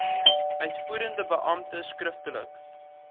uitvoerende beampte skriftelik